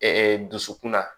dusukun na